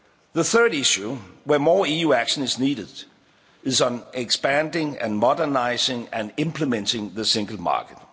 down. The third issue where more EU action is needed is on expanding and modernising and implementing the Single